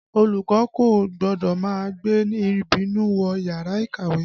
Olùkọ́ kò gbọ́dọ̀ má gbé ìbínú wọ yàrá ìkàwé